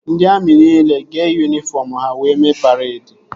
Ndị amị nile ga-eyi yunifọm ha wee mee paredi